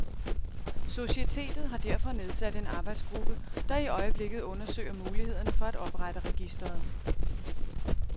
Societetet har derfor nedsat en arbejdsgruppe, der i øjeblikket undersøger mulighederne for at oprette registeret.